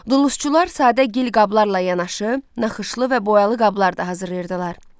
Dulusçular sadə gil qablarla yanaşı, naxışlı və boyalı qablar da hazırlayırdılar.